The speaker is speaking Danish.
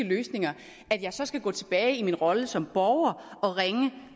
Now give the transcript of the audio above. løsninger at jeg så skal gå tilbage i min rolle som borger og ringe